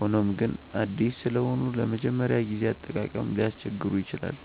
ሆኖም ግን አዲስ ስለሆኑ ለመጀመሪያ ጊዜ አጠቃቀም ሊያስቸግሩ ይችላሉ።